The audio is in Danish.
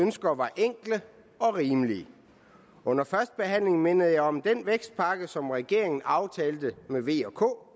ønsker var enkle og rimelige under førstebehandlingen mindede jeg om den vækstpakke som regeringen aftalte med v og k